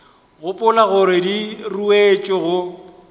gopola gore di ruetšwe go